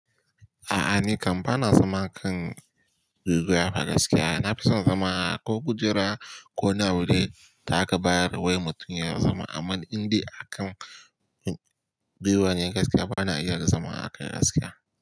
A'a ni kam bana zama kan guguwa a gaskiya. Nafi son zama ko kujera ko wani abu da aka bayar wai mutum ya zama. Amma indai akan biyu ba ne gaskiya bana iya zama akai gaskiya.